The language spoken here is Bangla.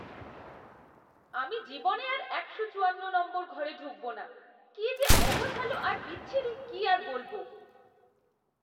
আমি জীবনে আর একশো চুয়ান্ন নম্বর ঘরে ঢুকবো না, কি যে অগোছালো আর বিচ্ছিরি কি আর বলব!